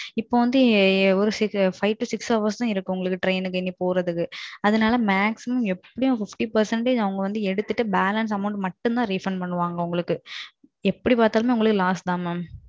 இப்போ வாந்தி வெறும் five to six hours தான் இருக்கு உங்களுக்கு trainக்கு நீங்க போறதுக்கு. அதனால maximum எப்பிடியும் fifty percent அவங்க வந்து எடுத்துட்டு balance amount மட்டும் தான் refund பண்ணுவாங்க உங்களுக்கு. அப்பிடி பாத்தாலும் உங்களுக்கு loss தான் mam.